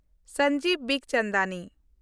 Sanjeev ᱵᱤᱠᱪᱚᱱᱫᱟᱱᱤ